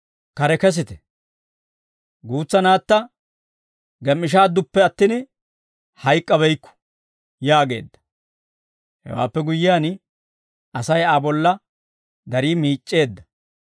«Kare kesite; guutsa naatta gem"ishshaadduppe attin, hayk'k'abeykku» yaageedda. Hewaappe guyyiyaan Asay Aa bolla darii miic'c'eedda.